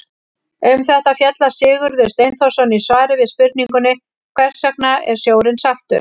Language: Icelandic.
Um þetta fjallar Sigurður Steinþórsson í svari við spurningunni Hvers vegna er sjórinn saltur?